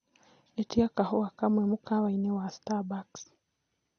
ĩtĩa kahũa kamwe mũkawaĩni wa starbucks